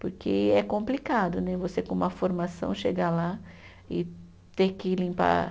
Porque é complicado né você, com uma formação, chegar lá e ter que limpar.